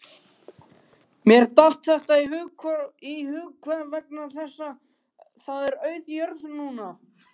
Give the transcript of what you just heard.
Mér datt þetta bara í hug vegna þess að það er auð jörð núna